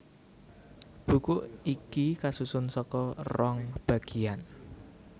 Buku iki kasusun saka rong bagiyan